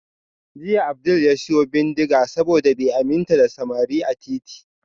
Jiya Abdul ya siyo bindiga saboda bai aminta da samari a titi